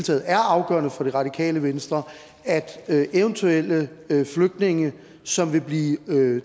taget er afgørende for det radikale venstre at at eventuelle flygtninge som vil blive